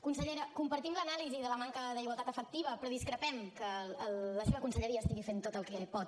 consellera compartim l’anàlisi de la manca d’igualtat efectiva però discrepem que la seva conselleria estigui fent tot el que pot